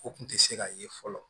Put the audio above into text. O kun tɛ se ka ye fɔlɔ